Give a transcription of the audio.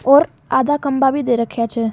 और आधा खम्भा भी दे रख्या छे।